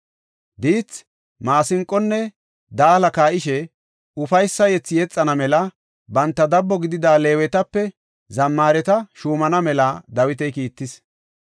Diithi, maasinqonne daala kaa7ishe ufaysa yethi yexana mela banta dabbo gidida Leewetape zammaareta shuumana mela Dawiti kiittis.